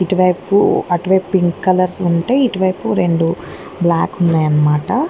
అటువైపు pink colours ఉంటే అటువైపు రెండు బ్లాక్ ఉన్నయనమాట.